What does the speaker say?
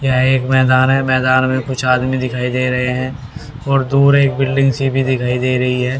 यह एक मैदान है मैदान में कुछ आदमी दिखाई दे रहे हैं और दूर एक बिल्डिंग सी भी दिखाई दे रही है।